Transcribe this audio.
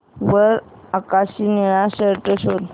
वर आकाशी निळा शर्ट शोध